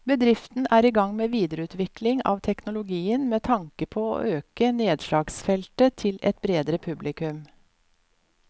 Bedriften er i gang med videreutvikling av teknologien med tanke på å øke nedslagsfeltet til et bredere publikum.